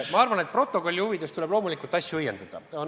Ma arvan, et stenogrammi huvides tuleb loomulikult asju õiendada.